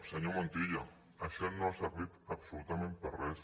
senyor montilla això no ha servit absolutament per a res